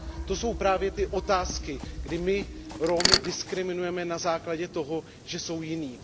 To jsou právě ty otázky, kdy my Romy diskriminujeme na základě toho, že jsou jiní.